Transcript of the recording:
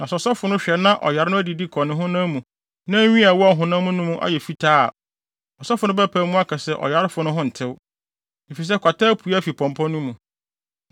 Na sɛ ɔsɔfo no hwɛ na ɔyare no adidi kɔ ne honam mu na nwi a ɛwɔ ɔhonam no hɔ no ayɛ fitaa a, ɔsɔfo no bɛpae mu aka se ɔyarefo no ho ntew, efisɛ kwata apue afi pɔmpɔ no mu.